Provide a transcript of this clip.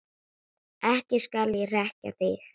Ekki skal ég hrekkja þig.